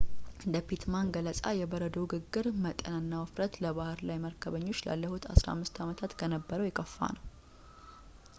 እንደ ፒትማን ገለፃ የበረዶው ግግር መጠንና ውፍረት ለባሕር ላይ መርከበኞች ላለፉት 15 ዓመታት ከነበረው የከፋ ነው